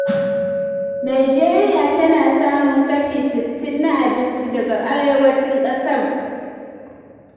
Nijeriya tana samun kashi sittin na abinci daga arewacin ƙasar.